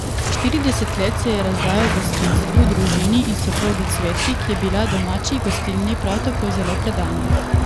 Štirideset let se je razdajal gostinstvu, družini in soprogi Cvetki, ki je bila domači gostilni prav tako zelo predana.